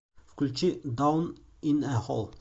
включи даун ин э хол